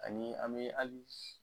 Ani an be ali